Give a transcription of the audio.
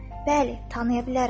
Bəli, tanıya bilərəm.